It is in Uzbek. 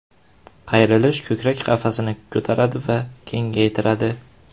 Qayrilish Ko‘krak qafasini ko‘taradi va kengaytiradi.